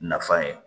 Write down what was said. Nafan ye